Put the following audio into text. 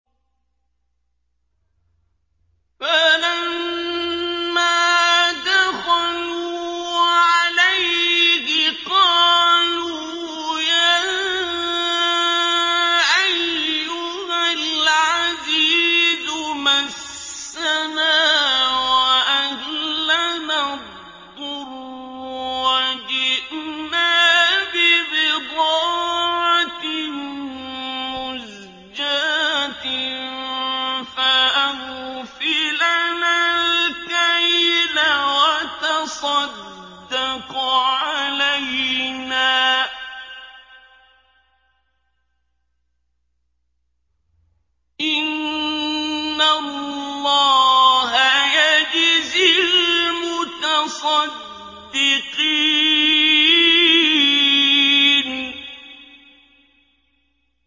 فَلَمَّا دَخَلُوا عَلَيْهِ قَالُوا يَا أَيُّهَا الْعَزِيزُ مَسَّنَا وَأَهْلَنَا الضُّرُّ وَجِئْنَا بِبِضَاعَةٍ مُّزْجَاةٍ فَأَوْفِ لَنَا الْكَيْلَ وَتَصَدَّقْ عَلَيْنَا ۖ إِنَّ اللَّهَ يَجْزِي الْمُتَصَدِّقِينَ